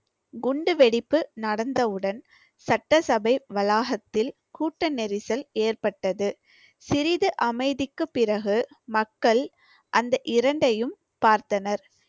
குண்டு வெடிப்பு நடந்தவுடன் சட்டசபை வளாகத்தில் கூட்ட நெரிசல் ஏற்பட்டது. சிறிது அமைதிக்குப் பிறகு மக்கள் அந்த இரண்டையும் பார்த்தனர்